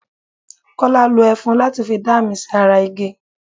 Kọ́lá lo ẹfun láti fi dá àmì sí ara igi.